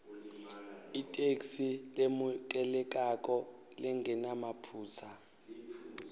itheksthi lemukelekako lengenamaphutsa